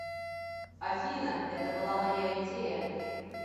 афина это была моя идея